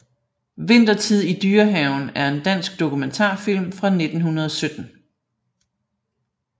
Vintertid i Dyrehaven er en dansk dokumentarfilm fra 1917